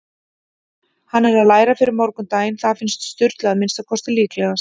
Hann er að læra fyrir morgundaginn- það finnst Sturlu að minnsta kosti líklegast.